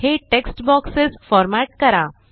हे text boxes format करा